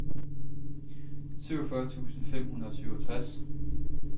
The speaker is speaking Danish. syvogfyrre tusind fem hundrede og syvogtres